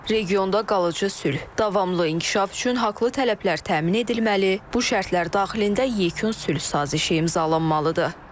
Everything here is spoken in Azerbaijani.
Regionda qalıcı sülh, davamlı inkişaf üçün haqlı tələblər təmin edilməli, bu şərtlər daxilində yekun sülh sazişi imzalanmalıdır.